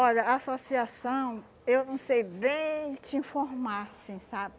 Olha, a associação, eu não sei bem te informar, assim sabe?